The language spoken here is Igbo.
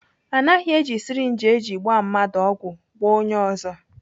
Anaghị eji syrinji eji gbaa mmadụ ọgwụ gbaa onye ọzọ.